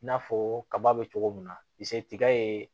I n'a fɔ kaba bɛ cogo min na i se tiga ye